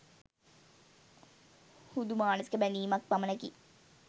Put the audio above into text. හුදු මානසික බැඳීමක් පමණකි.